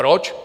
Proč?